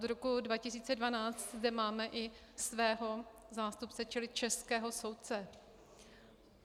Od roku 2012 zde máme i svého zástupce, čili českého soudce.